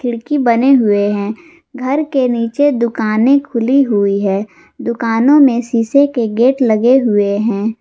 खिड़की बने हुए हैं घर के नीचे दुकाने खुली हुई है दुकानों में शीशे के गेट लगे हुए हैं।